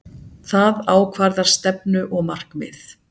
Það ákvarðar stefnu og markmið.